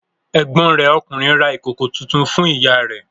Ẹ̀gbọ́n rẹ̀ ọkùnrin ra ìkòkò tuntun fún ìyá rẹ̀.